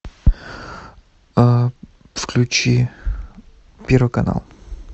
включи первый канал